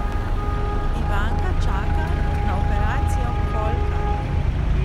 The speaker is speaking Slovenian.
Ivanka čaka na operacijo kolka.